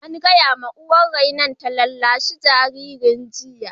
An gaya wa uwar rainon ta rarrashi jinjirin jiya!